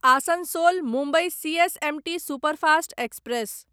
Asansol Mumbai CSMT superfast express